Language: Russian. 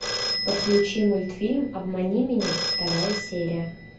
подключи мультфильм обмани меня вторая серия